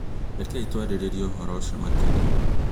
Rekei twarĩrĩrie ũhoro ũcio makĩria.